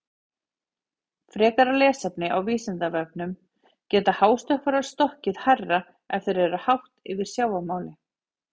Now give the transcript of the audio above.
Frekara lesefni á Vísindavefnum: Geta hástökkvarar stokkið hærra ef þeir eru hátt yfir sjávarmáli?